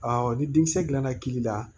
ni denkisɛ dilanna kiiri la